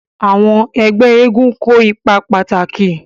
Àwọn ẹgbẹ́ eégún kó ipa pàtàkì.